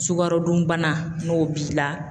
Sukaro dun bana n'o b'i la